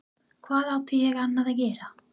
Hvað átti ég annað að gera?